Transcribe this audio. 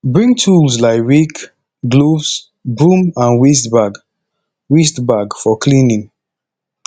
bring tools like rake gloves broom and waste bag waste bag for cleaning